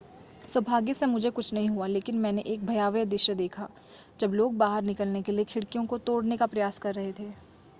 सौभाग्य से मुझे कुछ नहीं हुआ लेकिन मैंने एक भयावह दृश्य देखा जब लोग बाहर निकलने के लिए खिड़कियों को तोड़ने का प्रयास कर रह थे